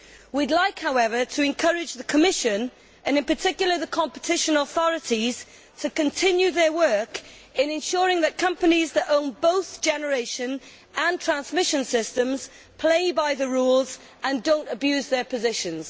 We would like, however, to encourage the Commission and, in particular, the competition authorities to continue their work in ensuring that companies that own both generation and transmission systems play by the rules and do not abuse their positions.